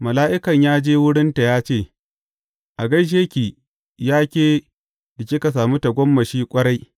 Mala’ikan ya je wurinta ya ce, A gaishe ki, ya ke da kika sami tagomashi ƙwarai!